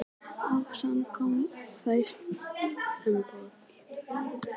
Ásakanir sams konar og þær, sem bornar voru á Tékka.